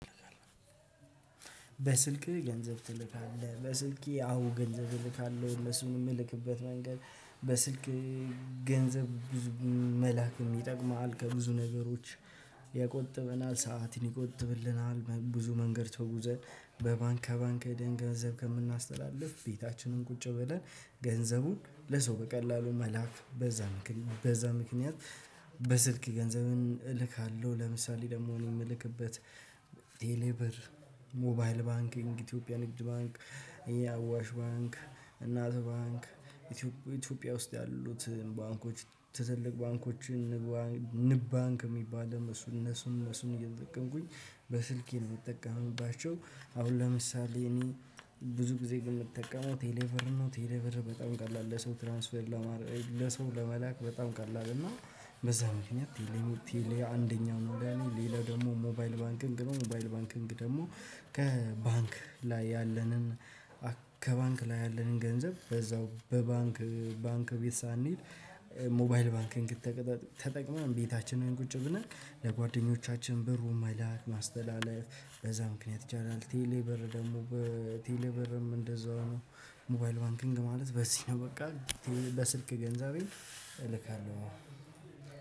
በስልክህ ገንዘብ ትልካለህ? በስልኬ አዎ፣ ገንዘብ እልካለሁ ለሰው ምልክበት መንገድ በስልክ ገንዘብ ብዙ መላክ ይጠቅማል ከብዙ ነገሮች። ያቆጥበናል ሰዓት ያቆጥበናል ብዙ መንገድ ተግዘን በባንክ ከባንክ ሄደን ገንዘብ ከምናስተላልፍ ቤታችንን ቁጭ በለን ገንዘቡን ለሰው በቀላሉ መላክ በዛ ምክንያት በዛ ምክንያት። በስልክ ገንዘብ እልካለሁ ለምሳሌ፤ ደግሞ እኔ ምልክበት ቴሌበር፣ ሞባይል ባንኪንግ፣ ኢትዮጵያ ንግድ ባንክ፣ አዋሽ ባንክ፣ እናት ባንክ፣ ኢትዮጵያ ውስጥ ያሉትን ባንኮች ትልልቅ ባንኮችን ንብ ባንክ። እነሱ እነሱን እነሱን እየጠቀምኩኝ በስልኬ እንደምትጠቀምባቸው አሁን ለምሳሌ እኔ ብዙ ጊዜ በምትጠቀመው ቴሌብር ነው ቴሌብር በጣም ቀላል ለሰው ትራንስፈር ለማር ለሰው ለመላክ በጣም ቀላል ነው። በዚያ ምክኒያት። አንደኛው ቴሌ አንደኛ ነው ሌላው ደግሞ ሞባይል ባንኪግ ነው። ሞባይል ባንኪግ ደግሞ ከባንክ ላይ ያለንን ከባንክ ላይ ያለንን ገንዘብ በዛው በባንክ ባንክ ቤት ሳንሄድ። ሞባይል ባንኪግ ተጠቅመን ቤታችንን ቁጭ ብለን ለጓደኞቻችን በሩን መላክ፣ ማስተላለፍ በዛ ምክንያት ይቻላል። ቴሌ በር ደግሞ ቴሌ በርም እንደዛው ነው። ሞባይል ባንኪንግ ማለት በዚህ ነው በቃ ለስልክ ገንዘቤ እልካለሁ።